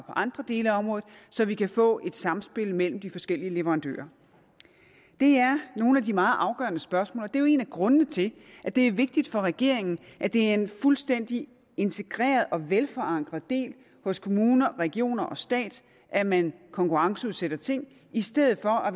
andre dele af området så vi kan få et samspil mellem de forskellige leverandører det er nogle af de meget afgørende spørgsmål og det er jo en af grundene til at det er vigtigt for regeringen at det er en fuldstændig integreret og velforankret del hos kommuner regioner og stat at man konkurrenceudsætter ting i stedet for at